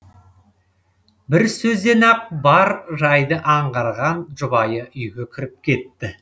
бір сөзден ақ бар жайды аңғарған жұбайы үйге кіріп кетті